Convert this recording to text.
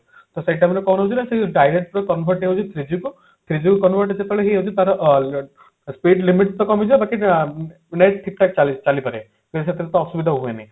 ତ ସେଇ time ରେ କଣ ହଉଛି ନା ସେ direct convert ହେଇଯାଏ three G କୁ three G କୁ convert ଯେତେବେଳେ ହୁଏ ବି ତାର ଅ speed ଲିମିଟ ତ କମିଯାଏ ବାକି ଅ net ଠିକ ଠାକ ଚାଲେ ସେଥିରେ ଏତେ ଅସୁବିଧା ହୁଏନି